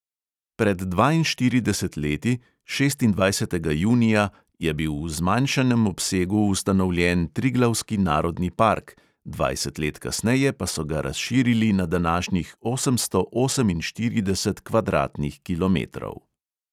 Pred dvainštiridesetimi leti, šestindvajsetega junija, je bil v zmanjšanem obsegu ustanovljen triglavski narodni park, dvajset let kasneje pa so ga razširili na današnjih osemsto oseminštirideset kvadratnih kilometrov.